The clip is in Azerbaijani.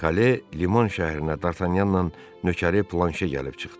Kale, Liman şəhərinə Dartanyanla Nökəri Planşe gəlib çıxdı.